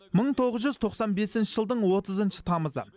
мың тоғыз жүз тоқсан бесінші жылдың отызыншы тамызы